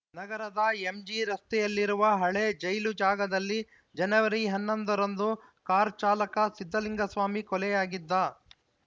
ನಗರದ ಎಜಿ ರಸ್ತೆಯಲ್ಲಿರುವ ಹಳೆ ಜೈಲು ಜಾಗದಲ್ಲಿ ಜನವರಿ ಹನ್ನೊಂದ ರಂದು ಕಾರ್‌ ಚಾಲಕ ಸಿದ್ಧಲಿಂಗಸ್ವಾಮಿ ಕೊಲೆಯಾಗಿದ್ದ